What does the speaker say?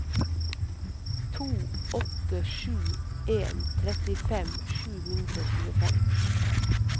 to åtte sju en trettifem sju hundre og tjuefem